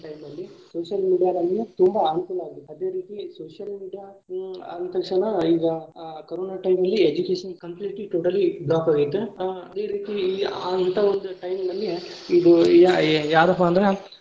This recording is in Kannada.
Time ನಲ್ಲಿ social media ದಲ್ಲಿ ತುಂಬಾ ಅನುಕೂಲ ಆಗಿದೆ ಅದೇ ರೀತಿ social media ಅಂದ ತಕ್ಷಣ ಈಗ ಆ corona time ಲ್ಲಿ education completely totally block ಆಗಿತ್ತ ಅಹ್ ಈ ರೀತಿ ಅಂತ ಒಂದ time ಲ್ಲಿ ಇದು ಯಾರಪಾ ಅಂದ್ರ.